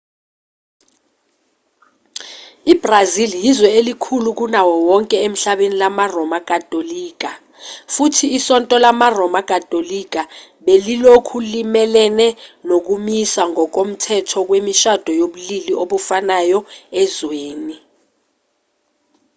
ibrazil yizwe elikhulu kunawo wonke emhlabeni lamaroma katolika futhi isonto lamaroma katolika belilokhu limelene nokumiswa ngokomthetho kwemishado yobulili obufanayo ezweni